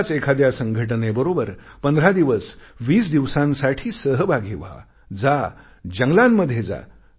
अशाच एखाद्या संघटनेबरोबर 15 दिवस 20 दिवसांसाठी सहभागी व्हा जा जंगलांमध्ये जा